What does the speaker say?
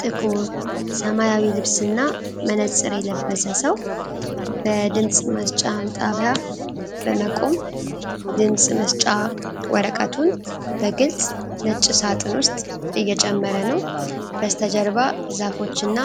ጥቁር ሰማያዊ ልብስና መነጽር የለበሰ ሰው በድምጽ መስጫ ጣቢያ በመቆም ድምጽ መስጫ ወረቀቱን በግልጽ ነጭ ሣጥን ውስጥ እየጨመረ ነው። በስተጀርባ ዛፎችና